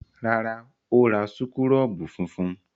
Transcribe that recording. Rárá, ó ra súkúrọ́bù funfun.